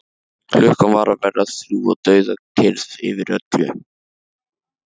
Klukkan var að verða þrjú og dauðakyrrð yfir öllu.